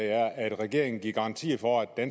er at regeringen vil give en garanti for at